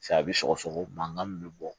Sa a bɛ sɔgɔsɔgɔ mankan min bɛ bɔ